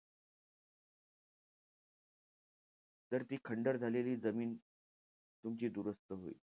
तर ती खंडर झालेली जमीन तुमची दुरुस्त होईल.